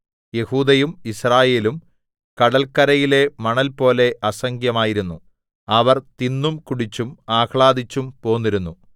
യെഹൂദയും യിസ്രായേലും കടല്ക്കരയിലെ മണൽപോലെ അസംഖ്യമായിരുന്നു അവർ തിന്നും കുടിച്ചും ആഹ്ളാദിച്ചും പോന്നിരുന്നു